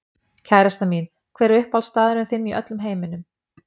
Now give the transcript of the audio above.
Kærastan mín Hver er uppáhaldsstaðurinn þinn í öllum heiminum?